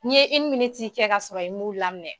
N' ye kɛ ka sɔrɔ i mun laminɛ.